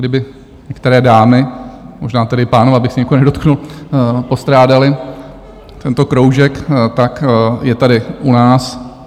Kdyby některé dámy, možná tedy páni, abych se někoho nedotknul, postrádali tento kroužek, tak je tady u nás.